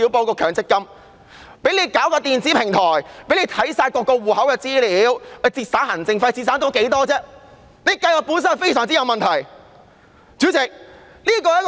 這項《條例草案》涉及電子平台，可閱覽所有戶口的資料，以節省行政費，試問可以節省多少費用？